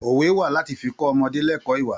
Òwe wá láti fi kọ́ ọmọdé lẹ́kọ̀ọ́ ìwà.